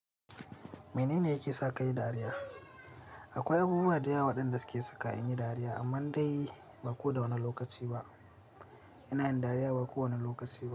Mene ne yake sa ka yi dariya? Akwai abubuwa da yawa waɗanda suke saka in yi dariya, amma dai ba ko da wane lokaci ba. Ina yin dariya ba kowane lokaci ba.